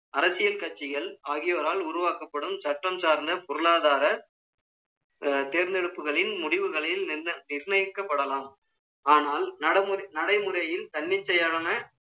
அரசியல் கட்சிகள், ஆகியோரால் உருவாக்கப்படும், சட்டம் சார்ந்த பொருளாதார, தேர்ந்தெடுப்புகளின் முடிவுகளில் நிர்ணயிக்கப்படலாம். ஆனால், நடைமுறையில் தன்னிச்சையான